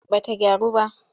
Ba ta gyaru ba.